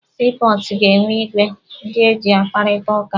Sii pọọtụ ga-enwe igwe ndị eji akparịta ụka.